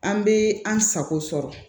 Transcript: An bɛ an sago sɔrɔ